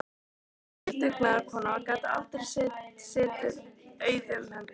Hún var mikil dugnaðarkona og gat aldrei setið auðum höndum.